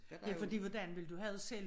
Ja fordi hvordan ville du have det selv